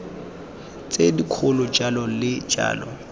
tse dikgolo jalo le jalo